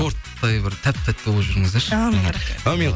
торттай бір тәп тәтті болып жүріңіздерші әумин рахмет әумин